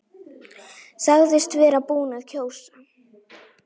Sagðist vera búinn að kjósa.